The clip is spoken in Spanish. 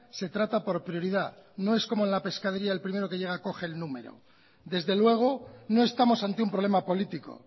se trata por prioridad no es como en la pescadería el primero que llega coge el número desde luego no estamos ante un problema político